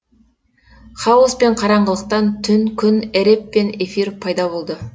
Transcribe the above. хаоспен қараңғылықтан түн күн эреб пен эфир пайда болды